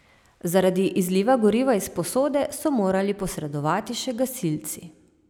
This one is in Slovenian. Zaradi izliva goriva iz posode so morali posredovati še gasilci.